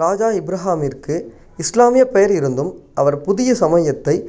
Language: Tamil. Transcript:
ராஜா இப்ராகிமிற்கு இஸ்லாமியப் பெயர் இருந்தும் அவர் புதிய சமயத்தைத்